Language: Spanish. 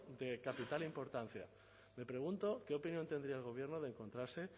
de capital importancia me pregunto qué opinión tendría el gobierno de encontrarse